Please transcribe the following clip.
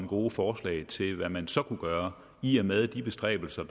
gode forslag til hvad man så kunne gøre i og med at de bestræbelser